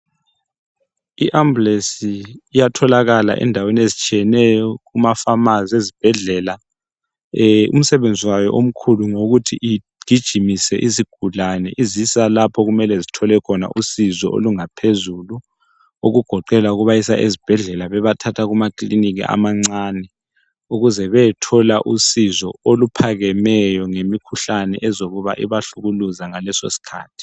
I ambulance iyatholakala endaweni ezitshiyeneyo kumafamazi ezibhedlela. Umsebenzi wayo omkhulu ngowokuthi igijimise izigulane izisa lapho okumele zithole khona usizo olungaphezulu okugoqela ukubasa ezibhedlela bebathatha kumakilinika amancane ukuze beyethola usizo oluphakemeyo ngemikhuhlane ezokuba ibahlukuluza ngaleso sikhathi.